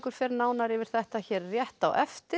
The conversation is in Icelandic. fer nánar yfir þetta hér rétt á eftir